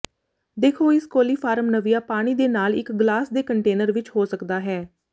ਦੇਖੋ ਇਸ ਕੋਲੀਫਾਰਮ ਨਵੀਆ ਪਾਣੀ ਦੇ ਨਾਲ ਇੱਕ ਗਲਾਸ ਦੇ ਕੰਟੇਨਰ ਵਿੱਚ ਹੋ ਸਕਦਾ ਹੈ